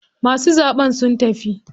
Masu zaɓen sun tafi.